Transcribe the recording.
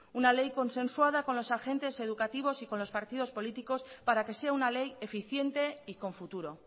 una ley consensuada con los agentes educativos y con los partidos políticos para que sea una ley eficiente y con futuro